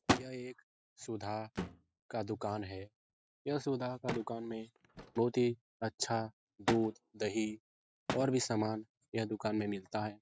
यह एक सुधा का दूकान है यह सुधा का दूकान में बहुत ही अच्छा दूध-दही और भी सामान यह दुकान में मिलता है ।